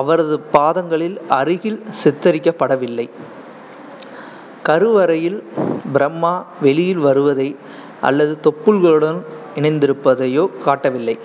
அவரது பாதங்களில் அருகில் சித்தரிக்கப்படவில்லை. கருவறையில் பிரம்மா வெளியில் வருவதை அல்லது தொப்புள்களுடன் இணைந்திருப்பதையோ காட்டவில்லை